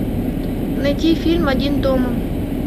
найти фильм один дома